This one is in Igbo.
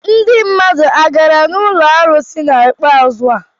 Ndị mmadụ ha gara ụlọ arụsị n'ikpeazu a?